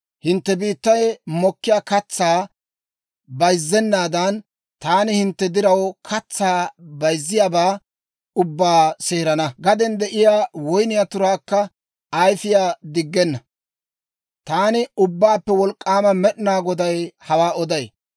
Hintte biittay mokkiyaa katsaa bayzzenaadan, taani hintte diraw katsaa bayizziyaabaa ubbaa seerana; gaden de'iyaa woyniyaa turaykka ayifiyaa diggenna. Taani Ubbaappe Wolk'k'aama Med'ina Goday hawaa oday.